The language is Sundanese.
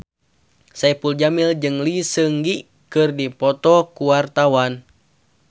Saipul Jamil jeung Lee Seung Gi keur dipoto ku wartawan